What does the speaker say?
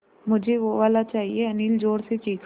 मझे वो वाला चाहिए अनिल ज़ोर से चीख़ा